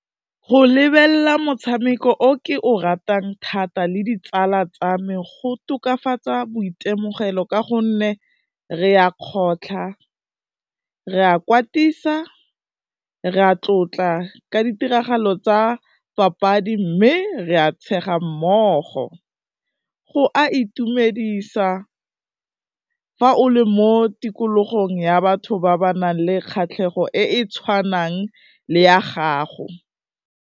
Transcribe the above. Go lebelela motshameko o ke o ratang thata le ditsala tsa me, go tokafatsa boitemogelo ka gonne re ya kgotlha, re a kwatisa, re a tlotla ka ditiragalo tsa papadi mme re a tshega mmogo, go a itumedisa fa o le mo tikologong ya batho ba ba nang le kgatlhego e e tshwanang le ya gago.